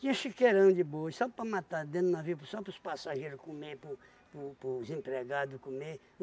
Tinha chiqueirão de boi, só para matar dentro do navio, só para os passageiros comer, po po pos empregado comer.